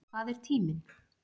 Hvað er tíminn?